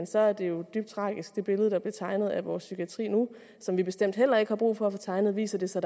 så er det jo dybt tragisk med det billede der bliver tegnet af vores psykiatri nu og som vi bestemt heller ikke har brug for at få tegnet viser det sig